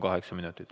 Kaheksa minutit.